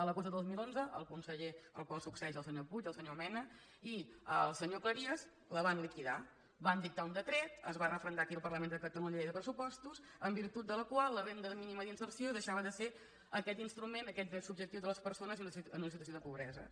l’agost de dos mil onze el conseller al qual succeeix el senyor puig el senyor mena i el senyor cleries la van liquidar van dictar un decret es va referendar aquí al parlament de cata lunya a la llei de pressupostos en virtut de la qual la renda mínima d’inserció deixava de ser aquest instrument aquest dret subjectiu de les persones en una situació de pobresa